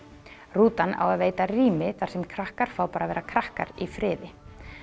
rútan á að veita rými þar sem krakkar fá bara að vera krakkar í friði